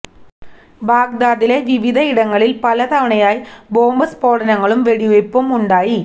ബഗ്ദാദിലെ വിവിധ ഇടങ്ങളില് പല തവണയായി ബോംബ് സ്ഫോടനങ്ങളും വെടിവയ്പു ഉണ്ടായി